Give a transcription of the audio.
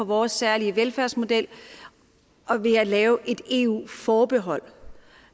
vores særlige velfærdsmodel ved at lave et eu forbehold